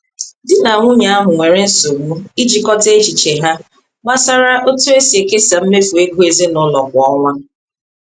Di na nwunye ahụ nwere nsogbu ijikọta echiche ha gbasara otu esi ekesa mmefu ego ezinụlọ kwa ọnwa.